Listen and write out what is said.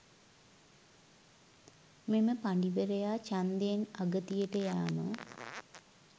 මෙම පඬිවරයා ඡන්දයෙන් අගතියට යෑම